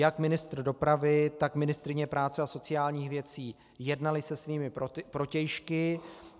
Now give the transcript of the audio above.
Jak ministr dopravy, tak ministryně práce a sociálních věcí jednali se svými protějšky.